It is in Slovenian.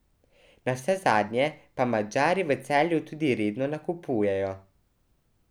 Navsezadnje pa Madžari v Celju tudi redno nakupujejo.